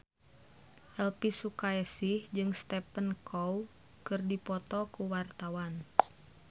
Elvy Sukaesih jeung Stephen Chow keur dipoto ku wartawan